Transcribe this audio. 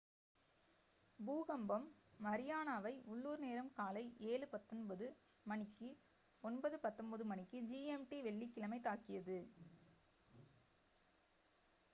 பூகம்பம் மரியானாவை உள்ளூர் நேரம் காலை 07:19 a.m. மணிக்கு 09:19 மணிக்கு gmt வெள்ளிக்கிழமை தாக்கியது